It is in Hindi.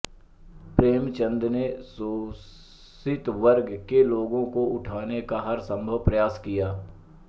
प्रेमचन्द ने शोषितवर्ग के लोगों को उठाने का हर संभव प्रयास किया